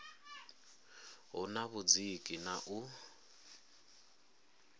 hu na vhudziki na u